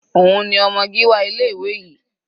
Òun ni ọmọ Gíwá ilé ìwé yìí.